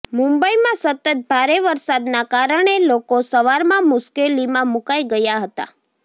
મુંબઇમાં સતત ભારે વરસાદના કારણે લોકો સવારમાં મુશ્કેલીમાં મુકાઇ ગયા હતા